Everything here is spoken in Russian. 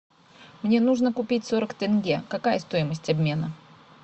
мне нужно купить сорок тенге какая стоимость обмена